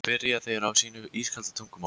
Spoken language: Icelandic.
spyrja þeir á sínu ískalda tungumáli.